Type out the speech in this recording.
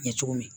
Ɲɛ cogo min